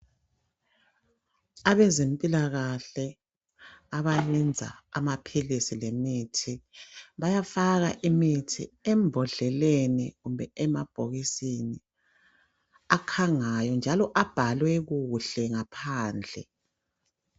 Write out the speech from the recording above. Abezempilakahle abayenza amaphilisi lemithi bayafaka imithi embodleleni kumbe emabhokisini akhangayo njalo abhalwe kuhle ngaphandle.